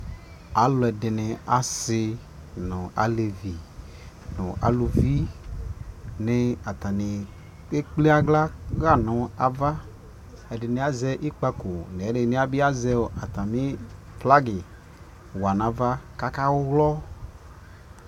Alʋɛdini asi nʋ alevi nʋ alʋvi ni ataniekpl aɣla ya nʋ ava Ɛdι nι azɛ ιkpakʋ, ɛdι nι atami flagi wa nʋ ava kakawlɔ